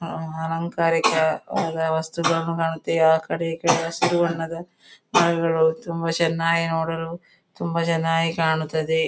ಆಂ ಅಲಂಕಾರಿಕ ವಸ್ತುಗಳು ರಸ್ತೆಯ ಆ ಕಡೆ ಈ ಕಡೆ ಹಸಿರು ಬಣ್ಣದ ಮರಗಳು ತುಂಬಾ ಚೆನ್ನಾಗಿ ನೋಡಲು ತುಂಬ ಚೆನ್ನಾಗಿ ಕಾಣುತ್ತದೆ.